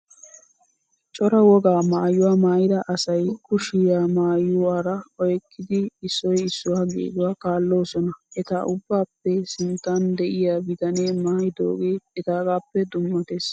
Cora wogaa maayyuwaa maayyida asayi kushiyaa maayywaara oyikkidi issoyi issuwaa geeduwaa kaalloosona. Eta ubbaappe sinttan diyaa bitanee maayyidoogee etaagaappe dummates